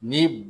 Ni